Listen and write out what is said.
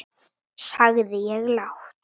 sagði ég lágt.